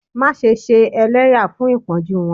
Maṣe ṣe ẹlẹya fun ipọnju wọn!